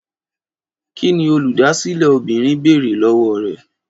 Kí ni Olùdásílẹ̀ obìnrin béèrè lọ́wọ́ rẹ?